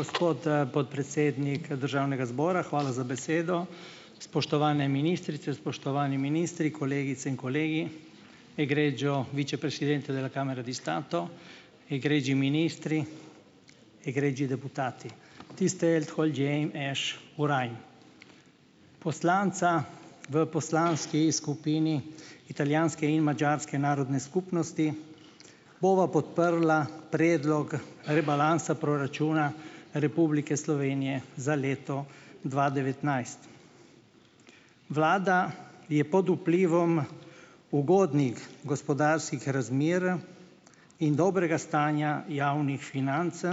Gospod, podpredsednik državnega zbora, hvala za besedo, spoštovane ministrice, spoštovani ministri, kolegice in kolegi, poslanca v poslanski skupini italijanske in madžarske narodne skupnosti bova podprla predlog rebalansa proračuna Republike Slovenije za leto dva devetnajst. Vlada je pod vplivom ugodnih gospodarskih razmer in dobrega stanja javnih financ